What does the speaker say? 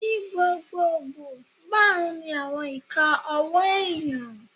Ní gbogbogbò, máàrún ni àwọn ìka ọwọ́ èèyàn